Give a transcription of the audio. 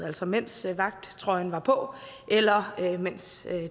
altså mens vagttrøjen var på eller mens